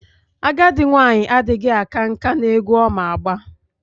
Agadi nwanyi adighi aka nka n'egwu Oma agba...